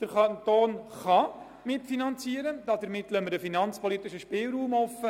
Der Kanton soll mitfinanzieren können und lässt mit diesem Vorschlag einen finanzpolitischen Spielraum offen.